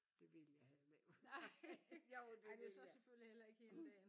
Det ville jeg heller ikke nej jo det ville jeg